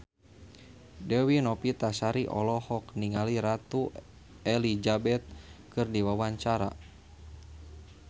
Dewi Novitasari olohok ningali Ratu Elizabeth keur diwawancara